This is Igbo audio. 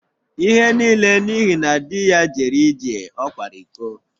Ihe niile n’ihi na di ya jere ije, ọ kwara iko